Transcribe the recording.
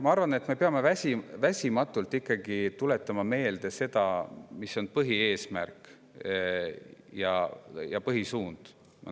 Ma arvan, et me peame endale väsimatult meelde tuletama seda, mis on meie põhieesmärk ja -suund.